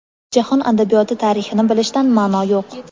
jahon adabiyoti tarixini bilishdan maʼno yo‘q.